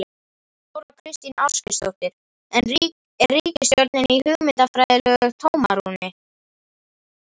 Þóra Kristín Ásgeirsdóttir: En er ríkisstjórnin í hugmyndafræðilegu tómarúmi?